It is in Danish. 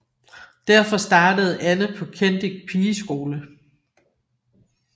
Derfor startede Anne på Kendick pigeskole